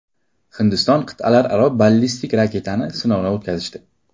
Hindiston qit’alararo ballistik raketani sinovdan o‘tkazdi.